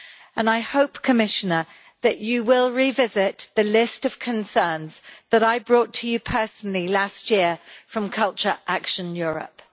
And I hope, Commissioner, that you will revisit the list of concerns that I brought to you personally last year from Culture Action Europe.